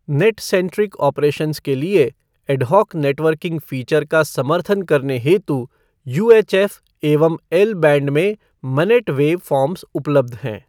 Net centric operations के लिये ad hoc networking feature का समर्थन करने हेतु यूएचएफ़ एवं एल बैंड में मनेट वैव फ़ॉर्म्स उपलब्ध हैं।